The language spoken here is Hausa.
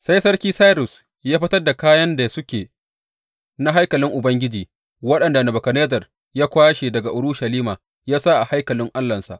Sai sarki Sairus ya fitar da kayan da suke na haikalin Ubangiji waɗanda Nebukadnezzar ya kwashe daga Urushalima ya sa a haikalin allahnsa.